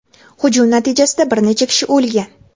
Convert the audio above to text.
Hujum natijasida bir necha kishi o‘lgan.